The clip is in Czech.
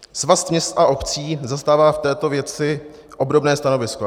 Svaz měst a obcí zastává v této věci obdobné stanovisko.